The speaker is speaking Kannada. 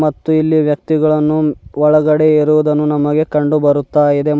ಮತ್ತು ಇಲ್ಲಿ ವ್ಯಕ್ತಿಗಳನ್ನು ಒಳಗಡೆ ಇರುವುದನ್ನು ನಮಗೆ ಕಂಡು ಬರುತ್ತಾ ಇದೆ ಮ --